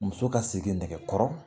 Muso ka segi nɛkɛ kɔrɔ